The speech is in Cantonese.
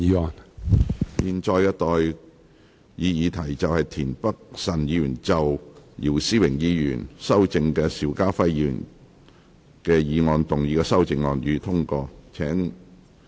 我現在向各位提出的待議議題是：田北辰議員就經姚思榮議員修正的邵家輝議員議案動議的修正案，予以通過。